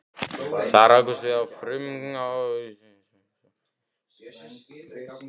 Þar rákumst við á frumútgáfuna af stórvirki